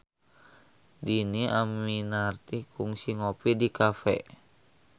Dhini Aminarti kungsi ngopi di cafe